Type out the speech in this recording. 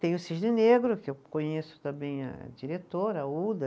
Tem o Cisne Negro, que eu conheço também a diretora, a Uda.